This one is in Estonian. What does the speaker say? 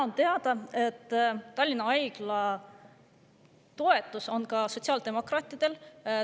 On teada, et Tallinna Haiglat toetavad ka sotsiaaldemokraadid.